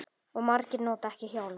Og margir nota ekki hjálm.